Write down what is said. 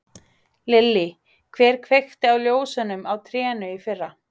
Lillý: Hver kveikti á ljósunum á trénu í fyrra?